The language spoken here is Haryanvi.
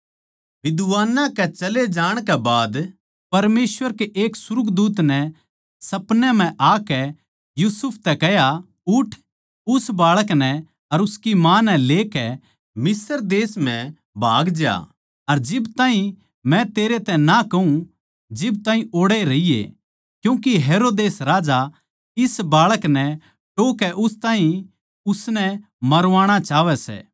विद्वानां कै चले जाणकै बाद परमेसवर कै एक सुर्गदूत नै सपनै म्ह आकै यूसुफ तै कह्या उठ उस बाळक नै अर उसकी माँ नै लेकै मिस्र देश म्ह भाग ज्या अर जिब ताहीं मै तेरै तै ना कहूँ जिब ताहीं ओड़ैए रहिये क्यूँके हेरोदेस राजा इस बाळक नै टोह्कै उस ताहीं उसनै मरवाणा चाहवै सै